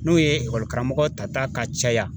N'o ye ekɔli karamɔgɔ tata ka caya